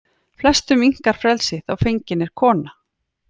Flestum minnkar frelsi þá fengin er kona.